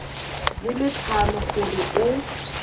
di le tlhano gore o